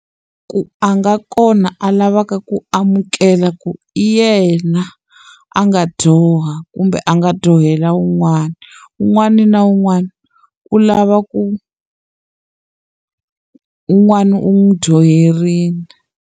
Ku a nga kona a lavaka ku amukela ku yena, a nga dyoha kumbe a nga dyohela un'wana. Un'wana na un'wana u lava ku un'wana u n'wi dyoherile.